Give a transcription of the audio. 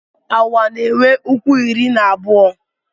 Awa na-enwe ụkwụ iri na abụọ.